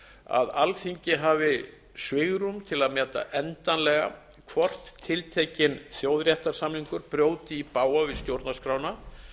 að alþingi hafi svigrúm til að meta endanlega hvort tiltekinn þjóðréttarsamningur brjóti í bága við stjórnarskrána